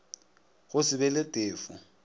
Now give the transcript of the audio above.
go se be le tefo